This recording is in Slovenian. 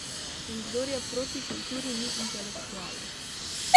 In kdor je proti kulturi, ni intelektualec.